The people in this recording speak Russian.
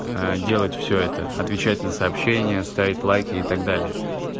делать все это отвечать на сообщения ставить лайки и так далее